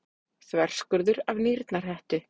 Þverskurður af nýrnahettu.